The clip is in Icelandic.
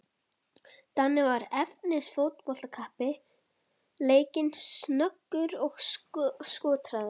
Danni var efnis fótboltakappi, leikinn, snöggur og skotharður.